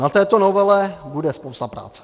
Na této novele bude spousta práce.